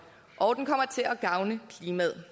og den kommer til at gavne klimaet